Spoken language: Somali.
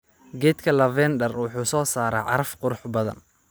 Geedka lavender wuxuu soo saaraa caraf qurux badan.